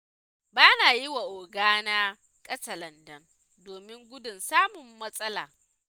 Ba na yi wa ogana katsalandan, domin gudun samun matsala.